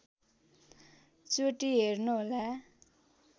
चोटी हेर्नुहोला